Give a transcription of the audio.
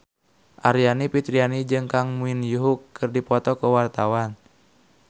Aryani Fitriana jeung Kang Min Hyuk keur dipoto ku wartawan